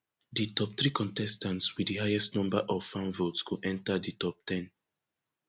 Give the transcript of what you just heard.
di top three contestants wit di highest number of fan votes go enta di top ten